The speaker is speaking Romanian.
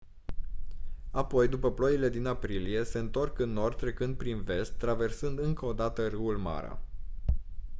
apoi după ploile din aprilie se întorc în nord trecând prin vest traversând încă o dată râul mara